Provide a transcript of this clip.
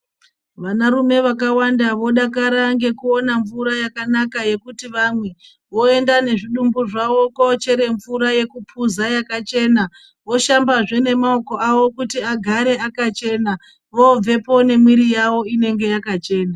Vanarume vakawanda vodakara ngekuona mvura yakanaka yekuti vamwe. Voenda ngezvidungu zvavo kunochera mvura yekupuza yakachena. Voshambazve maoko avo kuti agare akachena. Vobvepo nemuwiri yavo inenge yakachena.